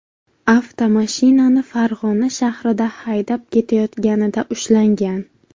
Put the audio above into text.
avtomashinani Farg‘ona shahrida haydab ketayotganida ushlangan.